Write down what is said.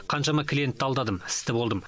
қаншама клиенттерді алдадым істі болдым